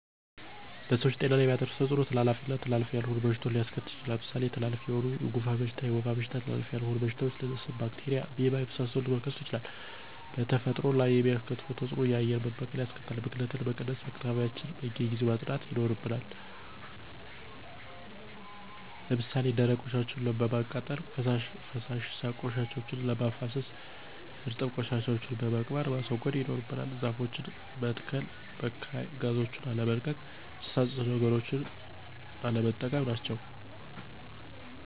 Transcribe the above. በሰዎች ጤና ላይ የሚያደርሰዉ ተጽኖ:-ተላላፊ ና ተላላፊ ያልሆኑ በሽታዎች ሊያሰከትል ይችላል። ለምሳሌ ተላላፊ የሆኑት:-የጉንፍን በሽታ፣ የወባ በሽታ ተላላፊ ያልሆኑ በሽታዎች :-አስም፣ ባክቴርያ፣ አሜባና የመሳሰሉት መከሰቱ ይችላሉ። በተፈጥሮ ላይ የሚያስከትለው ተጽእኖ :-የአየር መበከል ያስከትላል። ብክለትን ለመቀነስ :-አካባቢዎችያችን በየጊዜው ማጽዳት ይናርብናል። ለምሳሌ ደረቅ ቆሻሻወችን በማቃጠል፣ ፈሳሽ ቆሻሻወችን በማፋሰስ፣ እርጥብ ቆሻሻወችን በመቅበር ማስወገድ ይኖርብናል። ዛፎችን መተሰከል፣ በካይ ጋዞችን አለመልቀቅ፣ ጭሳጭስ ነገሮችን ቀለነጠቀም ናቸው።